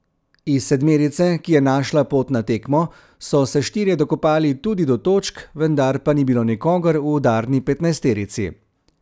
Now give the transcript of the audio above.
Iz sedmerice, ki je našla pot na tekmo, so se štirje dokopali tudi do točk, vendar pa ni bilo nikogar v udarni petnajsterici.